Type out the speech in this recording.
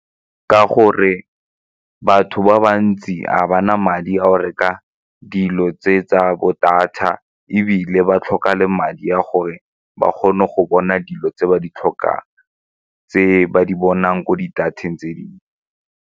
Ka gore batho ba bantsi ga ba na madi a go reka dilo tse tsa bo data ebile ba tlhoka le madi a gore ba kgone go bona dilo tse ba di tlhokang tse ba di bonang ko di-data-eng tse dingwe.